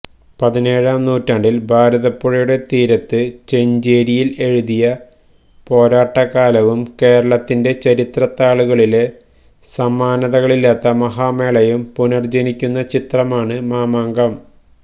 പതിനേഴാം നൂറ്റാണ്ടില് ഭാരതപ്പുഴയുടെ തീരത്ത് ചെഞ്ചേരിയില് എഴുതിയ പോരാട്ടകാലവും കേരളത്തിന്റെ ചരിത്രത്താളുകളിലെ സമാനതകളില്ലാത്ത മഹാമേളയും പുനര്ജനിക്കുന്ന ചിത്രമാണ് മാമാങ്കം